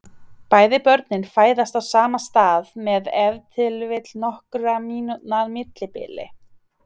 Bæði börnin fæðast á sama stað með ef til vill nokkurra mínútna millibili.